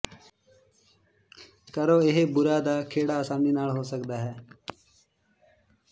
ਕਰੋ ਇਹ ਬੂਰਾ ਦਾ ਖਹਿੜਾ ਆਸਾਨੀ ਨਾਲ ਹੋ ਸਕਦਾ ਹੈ